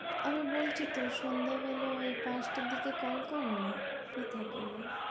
আমি বলছি তো সন্ধ্যাবেলা ওই পাঁচটার দিকে call করনা free থাকেন উনি।